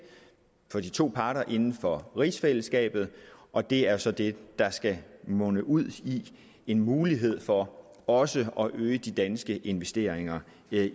for de to parter inden for rigsfællesskabet og det er så det der skal munde ud i en mulighed for også at øge de danske investeringer